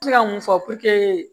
N bɛ se ka mun fɔ